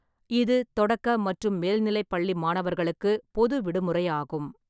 இது தொடக்க மற்றும் மேல்நிலைப் பள்ளி மாணவர்களுக்கு பொது விடுமுறையாகும்.